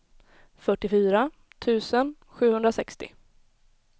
fyrtiofyra tusen sjuhundrasextio